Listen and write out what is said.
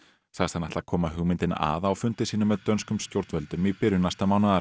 sagðist hann ætla að koma hugmyndinni að á fundi sínum með dönskum stjórnvöldum í byrjun næsta mánaðar